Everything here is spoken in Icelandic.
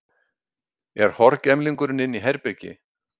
Er horgemlingurinn inni í herbergi?